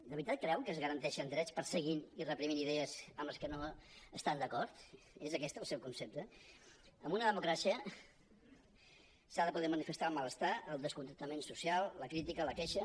de veritat creuen que es garanteixen drets perseguint i reprimint idees amb les que no estan d’acord és aquest el seu concepte en una democràcia s’ha de poder manifestar el malestar el descontentament so·cial la crítica la queixa